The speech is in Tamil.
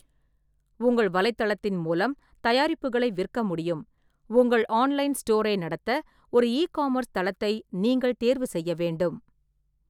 உங்கள் வலைத்தளத்தின் மூலம் தயாரிப்புகளை விற்க முடியும், உங்கள் ஆன்லைன் ஸ்டோரை நடத்த ஒரு இ-காமர்ஸ் தளத்தை நீங்கள் தேர்வு செய்ய வேண்டும்.